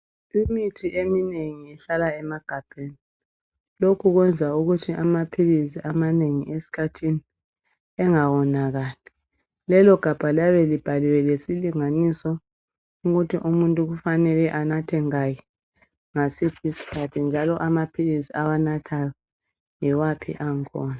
Imithi eminengi ihlala emagabheni. Lokhu kwenza ukuthi amaphilizi amanengi esikhathini engawonakali. Lelo gabha labe libhaliwe ngesilinganiso ukuthi umuntu kufanele anathe ngaki, ngasiphi isikhathi njalo amaphilizi awanathayo yiwaphi ang'khona.